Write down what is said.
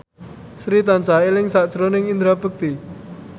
Sri tansah eling sakjroning Indra Bekti